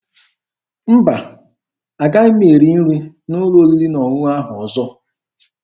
Mba, agaghị m erizi nri n'ụlọ oriri na ọṅụṅụ ahụ ọzọ.